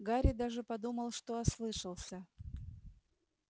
гарри даже подумал что ослышался